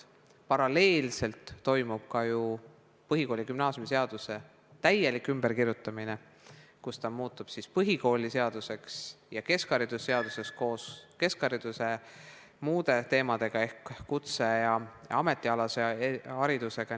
Paralleelselt toimub ju põhikooli- ja gümnaasiumiseaduse täielik ümberkirjutamine, nii et see muutub põhikooliseaduseks ja keskhariduse seaduseks koos keskhariduse muude teemadega ehk kutse- ja ametialase haridusega.